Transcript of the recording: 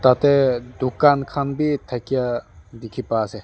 tate dukan khan bi thakia dikhi pai ase.